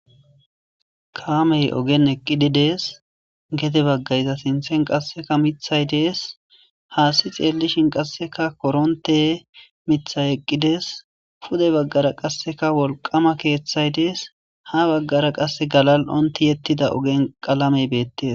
Kameyi ogenni eqidi dees.gede baga iza sinththenni qasekka miththayi dees.hassi xeelishinn korontte miththayi eqidi dees.pude bagara qasekka wolqama keththayi dees.haa bagara qasekka galali'onni tiyetida qalameyi bettes.